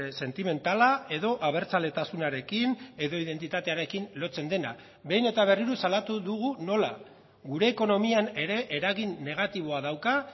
sentimentala edo abertzaletasunarekin edo identitatearekin lotzen dena behin eta berriro salatu dugu nola gure ekonomian ere eragin negatiboa dauka